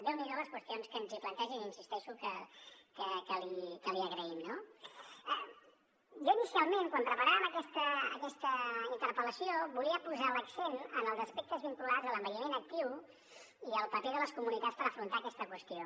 déu n’hi do les qüestions que ens planteja i hi insisteixo que l’hi agraïm no jo inicialment quan preparàvem aquesta interpel·lació volia posar l’accent en els aspectes vinculats a l’envelliment actiu i al paper de les comunitats per afrontar aquesta qüestió